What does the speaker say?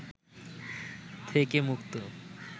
থেকে মুক্ত